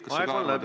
Aeg on läbi.